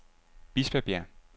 Bispebjerg